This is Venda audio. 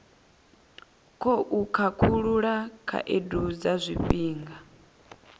khou khakhulula khaedu dza zwifhinga